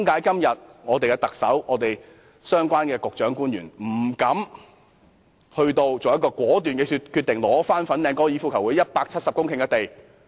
為何特首、相關的局長和官員到今天亦不敢作出果斷的決定，收回粉嶺香港高爾夫球會170公頃的土地呢？